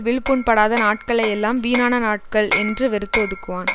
விழுப்புண்படாத நாட்களையெல்லாம் வீணான நாட்கள் என்று வெறுத்து ஒதுக்குவான்